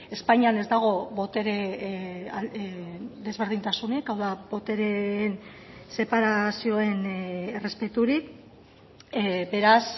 espainian ez dago botere desberdintasunik hau da botereen separazioen errespeturik beraz